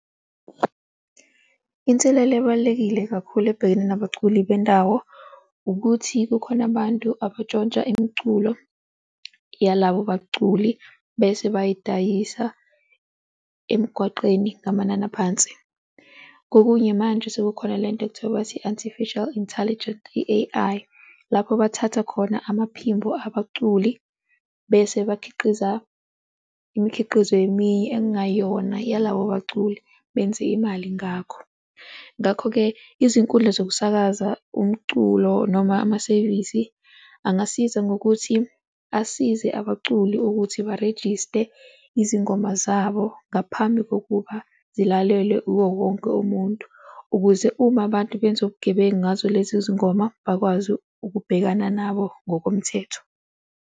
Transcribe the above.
Inselelo ebalulekile kakhulu ebhekene nabaculi bendawo, ukuthi kukhona abantu abatshontsha imiculo yalabo baculi bese bayidayisa emgwaqeni ngamanani aphansi. Kokunye manje sekukhona lento ekuthiwa bathi i-Artificial Intelligent, i-A_I, lapho bathatha khona amaphimbo abaculi bese bakhiqiza imikhiqizo eminye ek'ngayona yalabo baculi benze imali ngakho. Ngakho-ke, izinkundla zokusakaza umculo noma amasevisi angasiza ngokuthi asize abaculi ukuthi barejiste izingoma zabo ngaphambi kokuba zilalelwe uwo wonke umuntu ukuze uma abantu benza ubugebengu ngazo lezi zingoma, bakwazi ukubhekana nabo ngokomthetho.